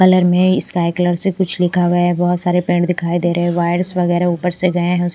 Colour में sky colour से कुछ लिखा हुआ है बहोत सारे पेड़ दिखाई दे रहें वायर्स वगैरा ऊपर से गए हैं।